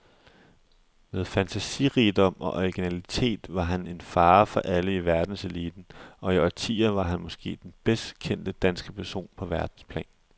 Med fantasirigdom og originalitet var han en fare for alle i verdenseliten, og i årtier var han måske den bedst kendte danske person på verdensplan.